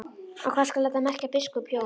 Og hvað skal þetta merkja, biskup Jón?